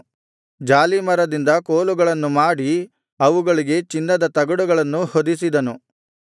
ಜಾಲೀಮರದಿಂದ ಕೋಲುಗಳನ್ನು ಮಾಡಿ ಅವುಗಳಿಗೆ ಚಿನ್ನದ ತಗಡುಗಳನ್ನು ಹೊದಿಸಿದನು